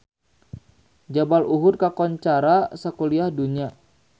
Jabal Uhud kakoncara sakuliah dunya